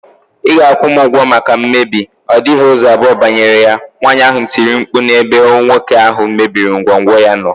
Ị ga- akwụ m ụgwọ maka mmebi, ọ dịghị ụzọ abụọ banyere ya, nwaanyị ahụ tiri mkpu n' ebe nwoke ahụ mebiri ngwongwo ya nọ.